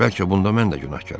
Bəlkə bunda mən də günahkaram,